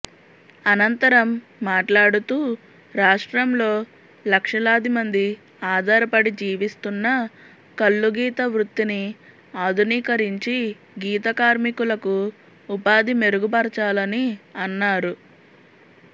అనంతరం మాట్లాడుతూ రాష్ట్రంలో లక్షలాది మంది ఆధారపడి జీవిస్తున్న కల్లుగీత వృత్తిని ఆధునీకరించి గీత కార్మికులకు ఉపాధి మెరుగుపరచాలని అన్నారు